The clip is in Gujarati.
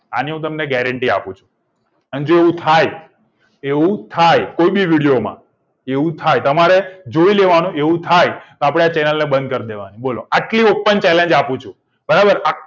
આની હું તમને guarantee આપું છુ અન જો એવું થાય એવું થાય કોઈબી video માં એવું થાય તમારે જોઈ લેવાનું એવું થાય આપડે channel ને બંધ કર દેવાની બોલો આટલું open challenge આપું છુ તમારે